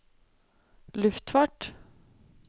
luftfart